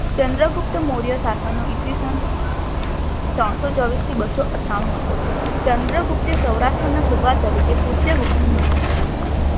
ચંદ્ર ગુપ્ત મોર્ય સાશનનો ઈ. સ. ત્રરણો ચોવીશથી બસો અથાણું હતો. ચંદ્રગુપ્તે સૌરાષ્ટ્રના શુભા તરીકે પુસ્ય બોકની નિમણુંક કરી હતી.